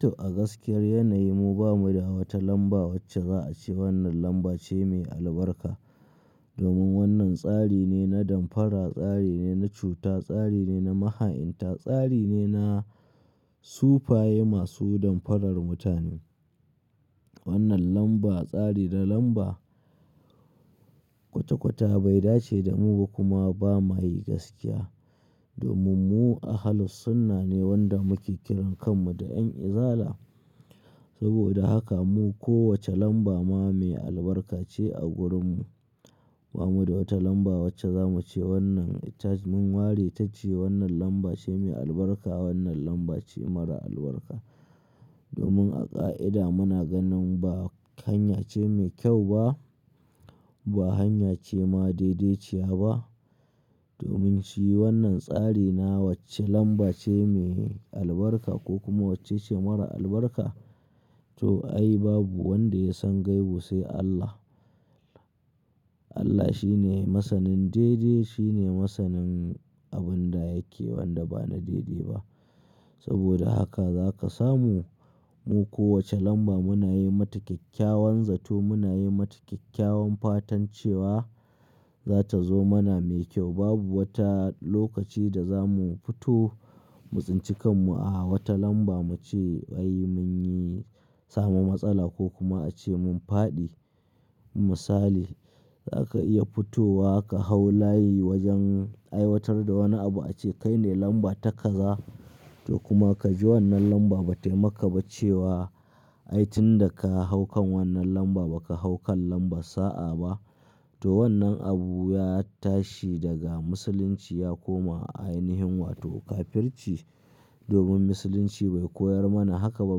To a gaskiyar yanayi mu bamu da wata lamba wacce za a ce wannan lamba ce mai albarka. Domin wannan tsari ne na damfara, tsari ne na cuta, tsari ne na maha'inta, tsari ne na sufaye masu damfarar mutane. Wannan lamba tsari na lamba kwata-kwata bai dace da mu ba kuma ba ma yi gaskiya. Domin mu Ahlus Sunnah ne wanda muke kiran kan mu da Yan Izala. Saboda haka mu kowace lamba ma mai albarka ce a gurin mu. Ba mu da wata lamba wacce za mu ce wannan ita mun ware ta ce wannan lamba ce mai albarka, wannan lamba ce mara albarka. Domin a ƙa'ida muna ganin ba hanya ce mai kyau ba, ba hanya ce ma daidai ce ba. Domin shi wannan tsari na wacce lamba ce mai albarka ko kuma wacce ce mara albarka. To ai babu wanda ya san gaibu sai Allah. Allah shi ne masanin daidai, shi ne masanin abin da yake wanda ba na daidai ba. Saboda haka za ka samu mu kowace lamba muna yi mata kyakkyawan zato, muna yi mata kyakkyawan fatan cewa za ta zo mana mai kyau. Babu wata lokaci da za mu fito mu tsinci kan mu a wata lamba mu ce wai mun yi samu matsala ko kuma a ce mun faɗi misali. Za ka iya fitowa ka hau layi wajen aiwatar da wani abu a ce kai ne lamba ta kaza. To kuma ka ji wannan lamba ba taimaka ba cewa aitin da ka haukan wannan lamba ba ka haukan lamba sa'a ba. To wannan abu ya tashi daga musulunci ya koma a ainihin wato kafirci. Domin musulunci bai koyar mana haka ba.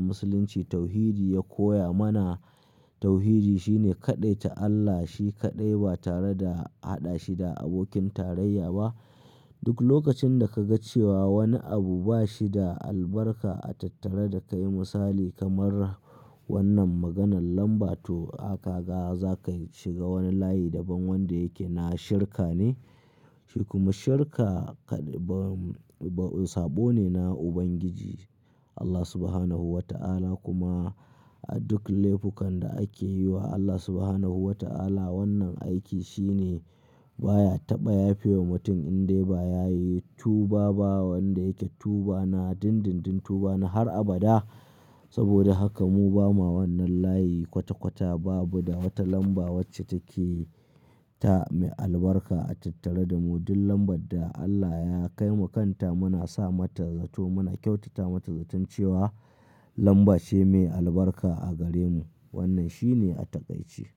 Musulunci tauhidi ya koya mana tauhidi shi ne kaɗai ta Allah shi kaɗai ba tare da haɗa shi da abokin tarayya ba. Duk lokacin da ka ga cewa wani abu ba shi da albarka a tattare da kai misali kamar wannan maganan lamba to haka ga za ka shiga wani layi daban wanda yake na shirka ne. Shi kuma shirka kaɗ-- sabo ne na ubangiji Allah Subhanahu wa ta'ala kuma a duk laifukan da ake yi wa Allah Subhanahu wa ta'ala wannan aiki shi ne baya taɓa yafe wa mutum in dai ba ya yi tuba ba wanda yake tuba na dindindin tuba na har abada. Saboda haka mu ba ma wannan layi kwata-kwata babu da wata lamba wacce take ta mai albarka a tattare da mu. Duk lambar da Allah ya kai wa kanta muna sa mata zato muna kyautata mata zaton cewa lamba ce mai albarka a gare mu. Wannan shi ne a takaice.